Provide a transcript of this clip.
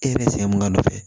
E yɛrɛ sɛ mun ka nɔfɛ